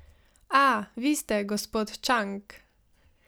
A, vi ste, gospod Čang!